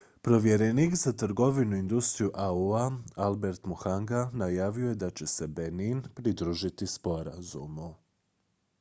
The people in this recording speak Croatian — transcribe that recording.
povjerenik za trgovinu i industriju au-a albert muchanga najavio je da će se benin pridružiti sporazumu